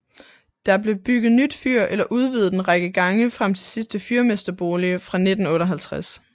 Der blev bygget nyt fyr eller udvidet en række gange frem til sidste fyrmesterbolig fra 1958